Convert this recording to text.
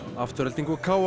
Afturelding og